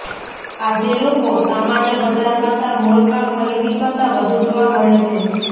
આજે લોકો સામાન્ય બજાર કરતાં મોલમાં ખરીદી કરતાં વધુ જોવા મળે છે